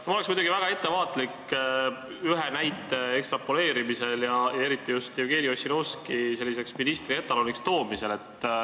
Mina oleksin muidugi väga ettevaatlik ühe näite ekstrapoleerimisel ja eriti just Jevgeni Ossinovski ministri etaloniks toomisel.